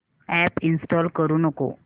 app install करू नको